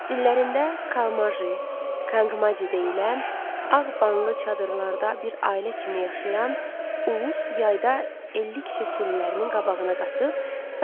Dillərində Kalmajı, Kanqmaji deyilən ağ banlı çadırlarda bir ailə kimi yaşayan ulus yayda illik keşə sürülərinin qabağına qatıb, Sayan dağlarının səfalı yaylaqlarına köçər,